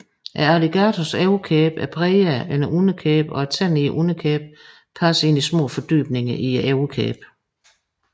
Alligatorers overkæbe er bredere end underkæben og tænderne i underkæben passer ind i små fordybninger i overkæben